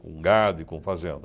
Com gado e com fazenda.